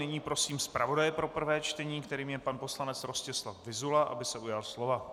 Nyní prosím zpravodaje pro prvé čtení, kterým je pan poslanec Rostislav Vyzula, aby se ujal slova.